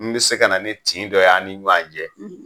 N bɛ se ka na ni tin dɔ y'an ni ɲɔgɔn cɛ.